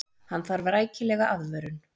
Hann þarf rækilega aðvörun.